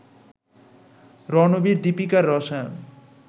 রণবীর-দীপিকার রসায়ন